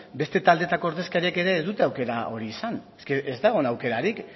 beste taldeetako ordezkariek ere ez dute aukera hori izan ez da egon aukerarik